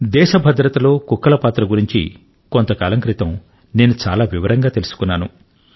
దేశ భద్రత లో కుక్కల పాత్ర గురించి కొంతకాలం క్రితం నేను చాలా వివరంగా తెలుసుకున్నాను